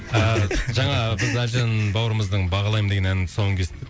жаңа біз әлжан бауырымыздың бағалаймын деген әнінің тұсауын кестік